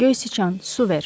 Göy siçan, su ver.